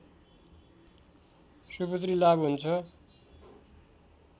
सुपुत्री लाभ हुन्छ